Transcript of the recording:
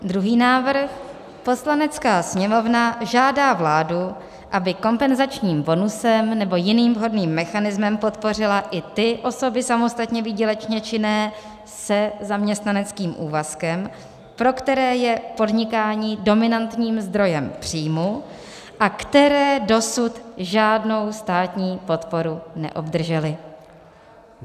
Druhý návrh: "Poslanecká sněmovna žádá vládu, aby kompenzačním bonusem nebo jiným vhodným mechanismem podpořila i ty osoby samostatně výdělečně činné se zaměstnaneckým úvazkem, pro které je podnikání dominantním zdrojem příjmu a které dosud žádnou státní podporu neobdržely."